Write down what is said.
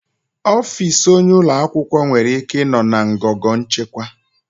Ọfịs onyeisi ụlọ akwụkwọ nwere ike ịnọ na ngọngọ nchịkwa.